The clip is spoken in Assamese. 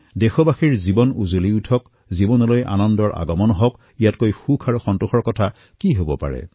দেশবাসীৰ জীৱন প্ৰকাশিত হওক তেওঁলোকৰ জীৱনত সুখ আহক ইয়াতকৈ সন্তোষৰ কথা কি হব পাৰে